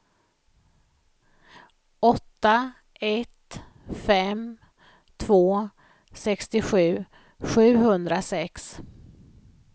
åtta ett fem två sextiosju sjuhundrasex